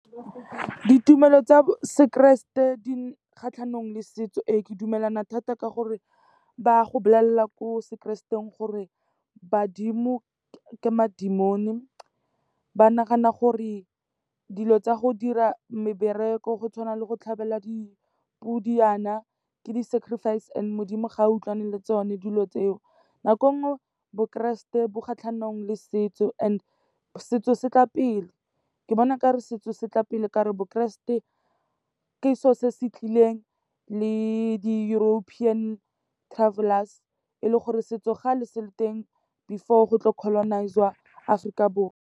Ditumelo tsa sekereste di kgatlhanong le setso ee, ke dumelana thata ka gore ba go bolelela ko sekrestengeng gore badimo ke ma-demon-e. Ba nagana gore dilo tsa go dira mebereko go tshwana le go tlhabela dipodi yana ke di-sacrifice and Modimo ga utlwane le tsone dilo tseo. Nako e nngwe bokeresete bo kgatlhanong le setso and setso se tla pele, ke bona o ka re setso se tla pele ka gore bokeresete ke selo se se tlileng le di-European travellers, e le gore setso kgale se le teng before go tlo colonise-iwa Aforika Borwa.